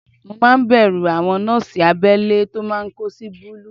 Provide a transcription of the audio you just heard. Mo máa ń bẹ̀rù àwọn nọ́ọ̀sì abẹ́lé tó máa ń kó sí búlúù